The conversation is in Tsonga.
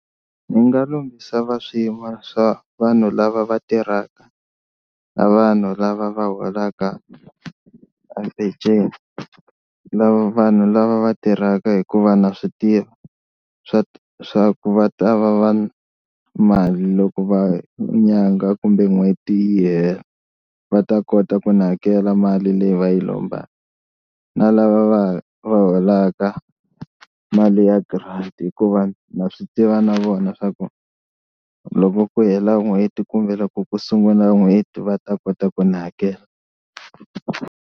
Ndzi nga lombisa va swiyimo swa vanhu lava va tirhaka na vanhu lava va holaka a peceni lava vanhu lava va tirhaka hikuva na swi tiva swa swa ku va ta va va mali loko va nyangha kumbe n'hweti yi hela, va ta kota ku ni hakela mali leyi va yi lomba na lava va va va holaka mali ya grant hikuva na swi tiva na vona swa ku loko ku hela n'hweti kombela ku ku sungula n'hweti va ta kota ku ni hakela.